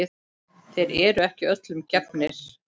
Þeir eru ekki öllum gefnir.